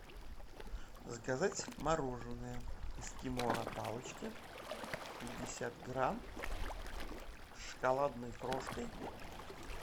заказать мороженое эскимо на палочке пятьдесят грамм с шоколадной крошкой